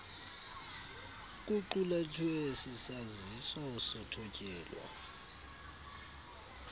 kuqulathwe sisaziso sothotyelo